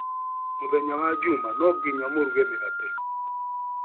Mũthenya wa juma no nginya maruge mĩgate.